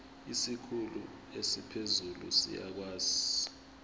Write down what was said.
isikhulu esiphezulu siyakwazi